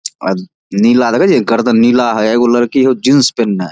अ नीला देखे छीये गर्दन नीला हेय एगो लड़की हउ जीन्स पेन्हले ।